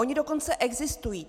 Ony dokonce existují.